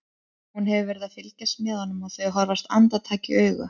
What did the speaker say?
Hún hefur verið að fylgjast með honum og þau horfast andartak í augu.